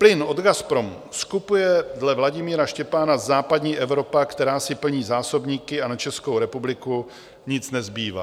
Plyn od Gazpromu skupuje dle Vladimíra Štěpána západní Evropa, která si plní zásobníky, a na Českou republiku nic nezbývá.